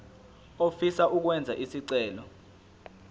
ofisa ukwenza isicelo